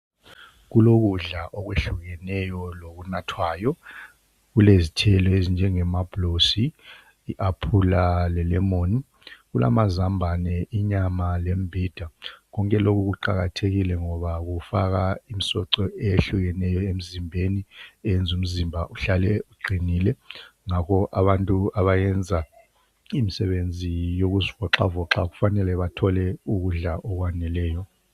Kulokudla okwehlukeneyo lokunathwayo kulezithelo, ezinjengomabhulosi, i aphula lelemoni. Kulamazambane, inyama lembhida konke lokhu kuqakathekile ngoba kufaka imisoco ehlukeneyo emzimbeni eyenza umzimba uhlale uqinile. Ngakho abantu abayenza imisebenzi yokuzivoxavoxa kufanele bathole ukudla okwaneleyo.